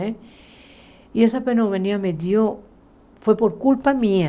Né e essa pneumonia me deu foi por culpa minha.